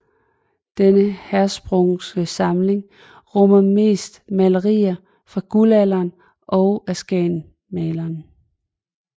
Den Hirschsprungske samling rummer mest malerier fra Guldalderen og af skagensmalerne